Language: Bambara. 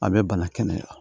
A bɛ bana kɛnɛya